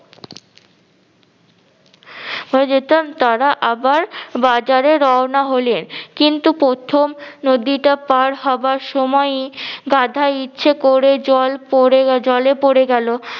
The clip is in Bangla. হয়ে যেতাম তারা আবার বাজারে রওনা হলেন, কিন্তু প্রথম নদীটা পার হবার সময়ই গাধা ইচ্ছে করে জল পরে জলে পরে গেল।